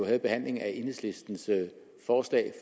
havde behandlingen af enhedslistens forslag